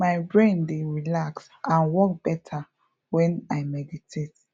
my brain dey relax and work better when i meditate